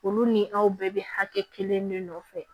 Olu ni aw bɛɛ bɛ hakɛ kelen de nɔfɛ